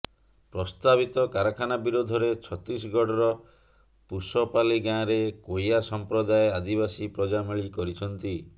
ପ୍ରସ୍ତାବିତ କାରାଖାନା ବିରୋଧରେ ଛତିଶଗଡର ପୁଶପାଲି ଗାଁରେ କୋୟା ସମ୍ପ୍ରଦାୟ ଆଦିବାସୀ ପ୍ରଜାମେଳି କରିଛନ୍ତି